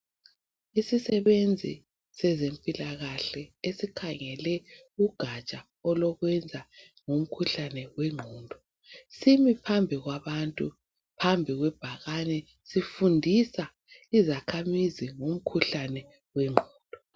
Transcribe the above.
Isisebenzi sezempilakahle esikhangele kugatsha olokwenza ngomkhuhlane wengqondo simi phambi kwabantu phambi kwebhakane sifundisa izakhamizi ngomkhuhlane wengqondo.